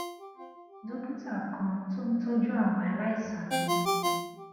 dókítà kan tó ń tójú àwọn aláìsàn ní